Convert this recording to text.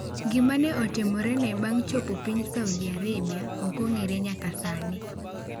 Gima ne otimorene bang' chopo piny Saudi Arabia ok ong'ere nyaka sani.